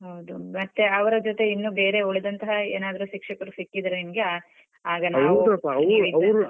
ಹೌದು ಮತ್ತೆ ಅವರ ಜೊತೆ ಇನ್ನು ಬೇರೆ ಉಳಿದಂತಹ ಏನಾದ್ರು ಶಿಕ್ಷಕರು ಸಿಕ್ಕಿದ್ರೆ ನಿಮ್ಗೆ ಅಹ್ ಆಗ ನಾವು.